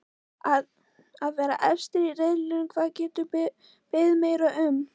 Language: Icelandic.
Að vera efstir í riðlinum, hvað geturðu beðið meira um?